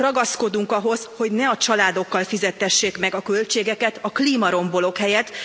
Ragaszkodunk ahhoz, hogy ne a családokkal fizettessék meg a költségeket a klímarombolók helyett.